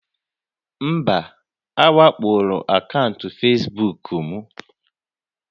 Mba, a wakpoola akaụntụ Facebook m